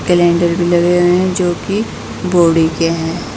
भी लगे हुए है जोकि बॉडी के है।